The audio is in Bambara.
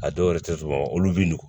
A dɔw yɛrɛ tɛ sɔn olu bɛ n'o no